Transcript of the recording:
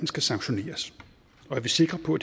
skal sanktioneres og er vi sikre på